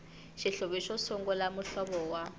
xihluvi xo sungula muhlovo wa